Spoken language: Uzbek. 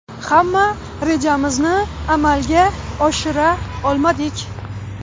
Hamma rejamizni amalga oshira olmadik.